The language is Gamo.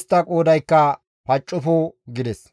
istta qoodaykka paccofo» gides.